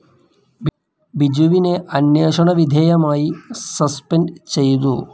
ബിജുവിനെ അന്വേഷണ വിധേയമായി സസ്പെൻഡ്‌ ചെയ്തു.